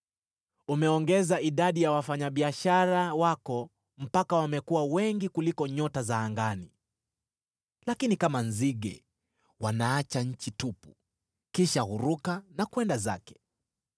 Umeongeza idadi ya wafanyabiashara wako mpaka wamekuwa wengi kuliko nyota za angani, lakini kama nzige wanaacha nchi tupu kisha huruka na kwenda zake.